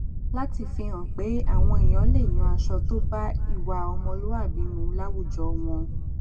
láti fi hàn pé àwọn èèyàn lè yan aṣọ tó bá ìwà ọmọlúwàbí mu láwùjọ wọn